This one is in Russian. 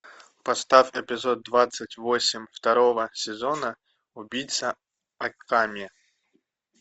поставь эпизод двадцать восемь второго сезона убийца акаме